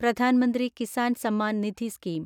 Pradhan Mantri Kisan Samman Nidhi scheme